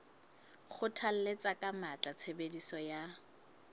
kgothalletsa ka matla tshebediso ya